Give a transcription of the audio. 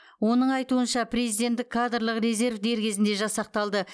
оның айтуынша президенттік кадрлық резерв дер кезінде жасақталды